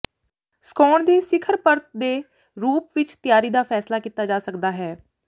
ਸੁਕਾਉਣ ਦੇ ਸਿਖਰ ਪਰਤ ਦੇ ਰੂਪ ਵਿੱਚ ਤਿਆਰੀ ਦਾ ਫ਼ੈਸਲਾ ਕੀਤਾ ਜਾ ਸਕਦਾ ਹੈ